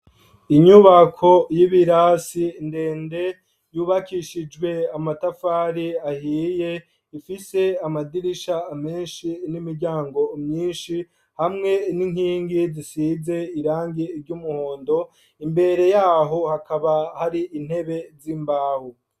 Inyubako y'ibirasi ndende yubakishijwe amatafari ahiye ifise amadirisha menshi n'imiryango myinshi hamwe n'inkingi zisize irangi ry'umuhondo, imbere yaho hakaba hari intebe z'imbaho.